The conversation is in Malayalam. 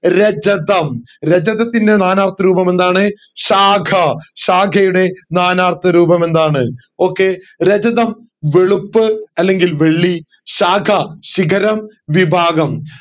രചതം രചതത്തിൻറെ നാനാർത്ഥ രൂപമെന്താണ്‌ ശാഖ ശാഖയുടെ നാനാർത്ഥ രൂപമെന്താണ്‌ okay രചതം വെളുപ്പ് അല്ലെങ്കിൽ വെള്ളി ശാഖ ശിഖരം വിഭാഗം